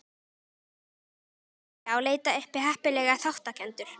Fyrst þurfti að velja og leita uppi heppilega þátttakendur.